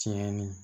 Tiɲɛni